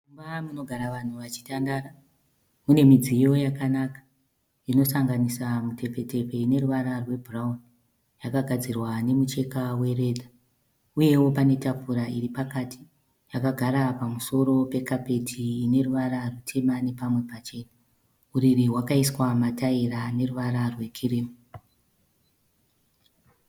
Mumba munogara vanhu vachitandara mune mudziyo yakanaka. Inosanganisa mutepfetepfe ine ruvara rwebhurauni. Yakakadzirwa nemucheka weredza. Uyewo pane tafura iri pakati. Yakagara pamusoro pekapeti ine ruvara rutema nepamwe pachena. Uriri hwakaiswa mataira ane ruvara rwekirimu.